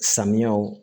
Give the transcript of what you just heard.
Samiyaw